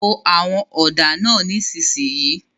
Po àwọn ọ̀dà náà nísìsiyìí!